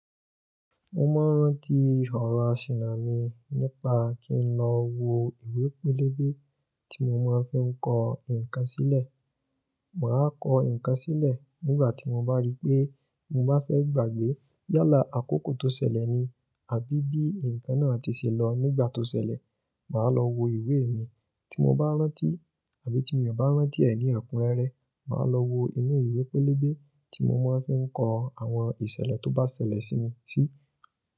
Mo máa ń rántí ọ̀rọ̀ asìnà mi nípa kí n lọ wo ìwé pélébé tí mo máa ń fi ń kọ ǹkan sílẹ̀. Màá kọ ǹkan sílẹ̀ nígbà tí mo bá rí pé mo bá fẹ́ gbàgbé yálà àkókò tó ṣẹlẹ̀ ni àbí bí ǹkan náà tí ṣe lọ nígbà tó ṣẹlẹ̀. Màá lọ wo ìwé mi tí mo bá rántí àbí tí mio ò bá rántí ẹ̀ ní ekúnrẹ́rẹ́. Màá lọ wo inú ìwé pélébé tí mo máa ń fi ń kọ àwọn ìṣẹ̀lẹ̀ tó bá ṣẹlẹ̀ sí mi sí.